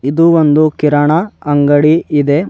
ಇದು ಒಂದು ಕಿರಣ ಅಂಗಡಿ ಇದೆ.